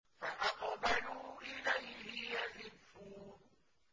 فَأَقْبَلُوا إِلَيْهِ يَزِفُّونَ